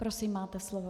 Prosím, máte slovo.